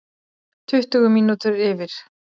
Tuttugu mínútur yfir